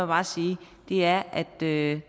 bare sige er at det